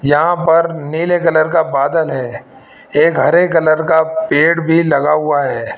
यहां पर नीले कलर का बादल है एक हरे कलर का पेड़ भी लगा हुआ है।